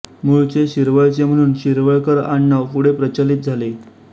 मुळचे शिरवळचे म्हणून शिरवळकर आडनाव पुढे प्रचलित झाले